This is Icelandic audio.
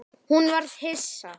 Hún varð hissa.